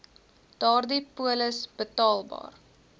daardie polis betaalbaar